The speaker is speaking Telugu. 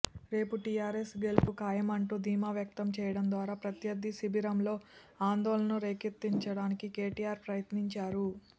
రేపు టీఆర్ఎస్ గెలుపు ఖాయమంటూ ధీమా వ్యక్తం చేయడం ద్వారా ప్రత్యర్థి శిబిరంలో ఆందోళనను రేకెత్తించడానికి కేటీఆర్ ప్రయత్నించారు